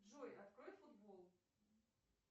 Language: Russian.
джой открой футбол